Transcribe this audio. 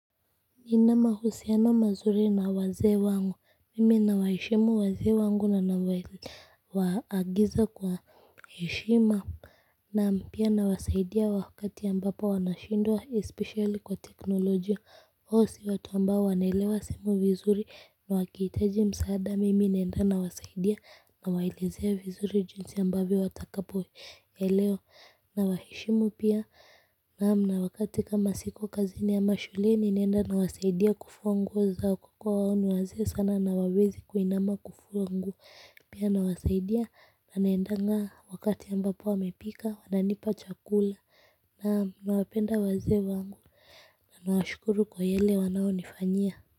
Nina mahusiano mazuri na wazee wangu mimi na waheshimu wazee wangu na na waagiza kwa heshima na pia nawasaidia wakati ambapo wanashindwa especially kwa teknolojia wao si watu ambao wanaelewa simu vizuri na wakihitaji msaada mimi naenda nawasaidia nawaelezea vizuri jinsi amabvyo watakapoelewa na waheshimu pia. Naam, na wakati kama siko kazi ni ama shuleni naenda nawasaidia kufua nguo zao kwa kuwa wao ni wazee sana na hawawezi kuinama kufua nguo pia nawasaidia na naendanga wakati ambapo wamepika wananipa chakula, naam, nawapenda wazee wangu na nawashukuru kwa yale wanayonifanyia.